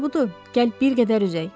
Yaxşısı budur, gəl bir qədər üzək.